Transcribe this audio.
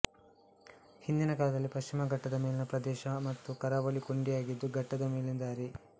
ಹಿಂದಿನ ಕಾಲದಲ್ಲಿ ಪಶ್ಚಿಮ ಘಟ್ಟದ ಮೇಲಿನ ಪ್ರದೇಶ ಮತ್ತು ಕರಾವಳಿಗೆ ಕೊಂಡಿಯಾಗಿದ್ದು ಘಟ್ಟದ ಮೇಲಿನ ದಾರಿ